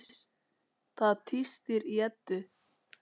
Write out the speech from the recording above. Það tístir í Eddu.